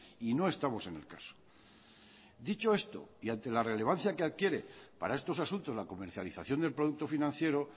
y no estamos en el caso dicho esto y ante la relevancia que adquiere para estos asuntos la comercialización del producto financiero